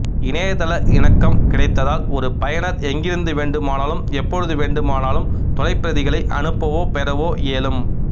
இணையதள இணக்கம் கிடைத்தால் ஒரு பயனர் எங்கிருந்து வேண்டுமானாலும் எப்பொழுது வேண்டுமானாலும் தொலைப்பிரதிகளை அனுப்பவோ பெறவோ இயலும்